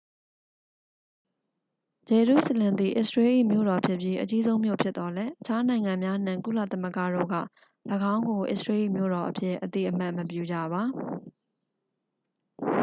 ဂျေရုစလင်သည် အစ္စရေးလ်၏ မြို့တော်ဖြစ်ပြီး အကြီးဆုံး မြို့ဖြစ်သော်လည်း အခြား နိုင်ငံများနှင့် ကုလသမဂ္ဂတို့က ၎င်းကို အစ္စရေးလ်၏ မြို့တော်အဖြစ် အသိအမှတ်မပြုကြပါ